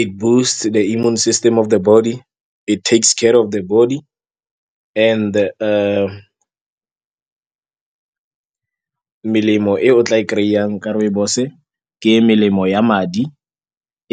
It boosts the immune system of the body. It takes ka care of the body and-e . Melemo e o tla e kry-ang ka rooibos-e ke melemo ya madi,